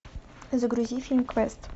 загрузи фильм квест